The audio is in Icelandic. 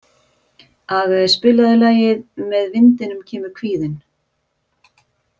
Aage, spilaðu lagið „Með vindinum kemur kvíðinn“.